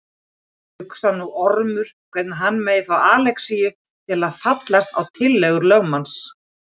Hugsar nú Ormur hvernig hann megi fá Alexíus til að fallast á tillögur lögmanns.